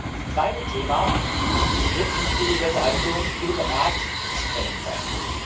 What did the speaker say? Das zweite Thema wird im Zuge der Verhandlungen mit dem Rat zu besprechen sein.